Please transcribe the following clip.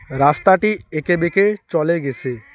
রাস্তাটি এঁকেবেঁকে চলে গেসে ।